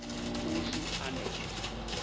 uhlu a nohlu